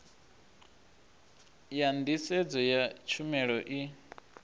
ya nḓisedzo ya tshumelo i